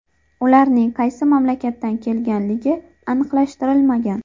Ularning qaysi mamlakatdan kelganligi aniqlashtirilmagan.